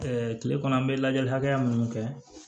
kile kɔnɔ an bɛ lajɛli hakɛya minnu kɛ